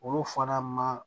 Olu fana ma